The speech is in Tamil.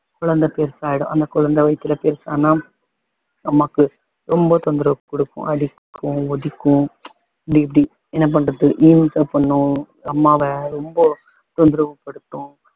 குழந்தை பெருசாயிடும் அந்த குழந்தை வயித்துல பெருசானா அம்மாக்கு ரொம்ப தொந்தரவு கொடுக்கும் அடிக்கும் உதைக்கும் இப்படி இப்படி என்ன பண்றது இம்சை பண்ணும் அம்மாவ ரொம்ப தொந்தரவுபடுத்தும்